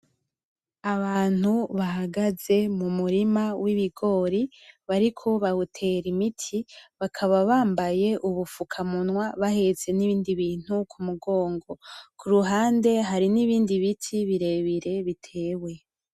Abantu bahagaze m'Umurima w'ibigori ,bariko bawutera imiti bakaba bambaye ubufuka munwa ,bahetse n'ibidni bintu mumugongo, kuruhande hari n'ibindi biti birebire bitewe.